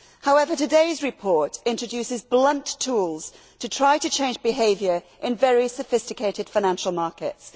However, today's report introduces blunt tools to try to change behaviour in very sophisticated financial markets.